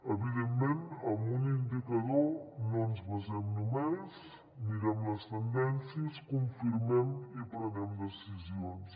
evidentment amb un indicador no ens basem només mirem les tendències confirmem i prenem decisions